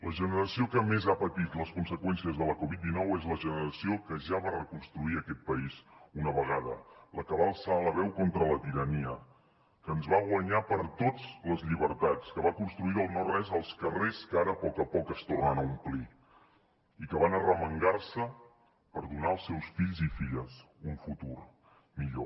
la generació que més ha patit les conseqüències de la covid dinou és la generació que ja va reconstruir aquest país una vegada la que va alçar la veu contra la tirania que ens va guanyar per tots les llibertats que va construir del no res els carrers que ara a poc a poc es tornen a omplir i que van arremangar se per donar als seus fills i filles un futur millor